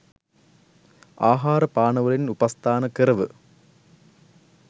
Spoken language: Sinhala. ආහාර පාන වලින් උපස්ථාන කරව.